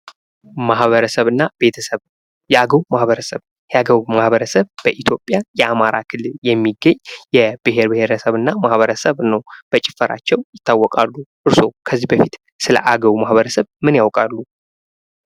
ማህበረሰብ እና ቤተሰብ የአገው ማህበረሰብ የአገው ማህበረሰብ በኢትዮጵያ የአማራ ክልል የሚገኝ የቢሔር ብሔረሰብ እና ማህረሰብ ነው። በጭፈራቸው ይታወቃሉ። እርሶ ከዚህ በፊት ስለ አገው ማህበረሰብ ምን ያውቃሉ?